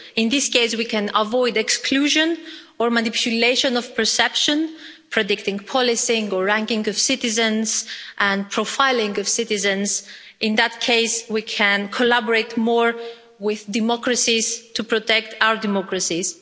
In this case we can avoid exclusion or manipulation of perception, predicting the policing or ranking of citizens and the profiling of citizens. In that case we can collaborate more with democracies to protect our democracies.